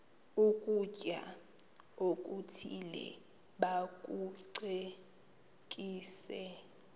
ukutya okuthile bakucekise